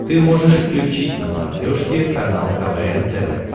ты можешь включить на смотрешке канал квн тв